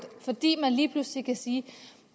fordi man lige pludselig kan sige